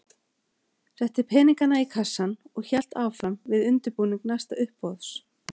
Setti peningana í kassann og hélt áfram við undirbúning næsta uppboðs.